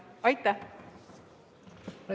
Aitäh!